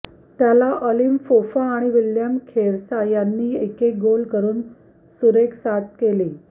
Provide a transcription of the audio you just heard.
त्याला आलिम फोफा आणि विल्यम खेरसा यांनी एकेक गोल करून सुरेख साथ केली